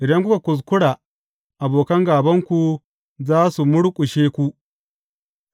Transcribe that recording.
Idan kuka kuskura, abokan gābanku za su murƙushe ku.’